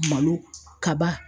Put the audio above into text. Malo kaba